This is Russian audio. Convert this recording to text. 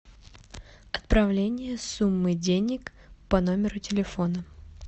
отправление суммы денег по номеру телефона